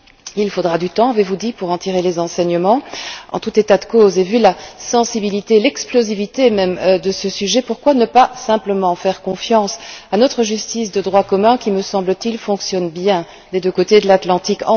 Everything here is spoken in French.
Il faudra du temps, avez vous dit, pour en tirer les enseignements. En tout état de cause et vu la sensibilité, l'explosivité même, de ce sujet, pourquoi ne pas simplement faire confiance à notre justice de droit commun qui, me semble t il, fonctionne bien des deux côtés de l'Atlantique?